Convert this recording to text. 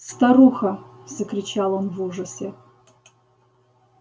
старуха закричал он в ужасе